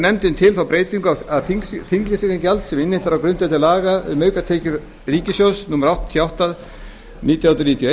nefndin til þá breytingu að þinglýsingargjald sem innheimt er á grundvelli laga um aukatekjur ríkissjóðs númer áttatíu og átta nítján hundruð níutíu og